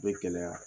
Be gɛlɛya